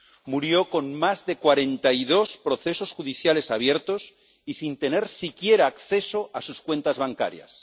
Murió con más de 42 procesos judiciales abiertos y sin tener siquiera acceso a sus cuentas bancarias.